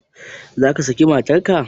Zaka saki matar ka?